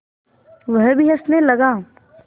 वह भी हँसने लगा